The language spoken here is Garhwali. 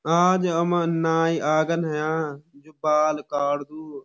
आज हमन नाई आगन अयाँ जू बाल काड़दू।